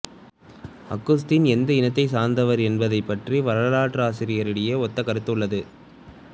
அகுஸ்தீன் எந்த இனத்தைச் சார்ந்தவர் என்பது பற்றி வரலாற்றாசிரியரிடையே ஒத்த கருத்து உள்ளது